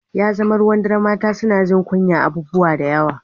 Ya zama ruwan dare mata suna jin kunyar abubuwa da yawa